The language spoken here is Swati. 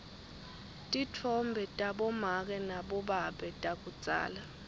titfombe tabomake nabobabe takudzala